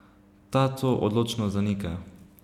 Ta to odločno zanika.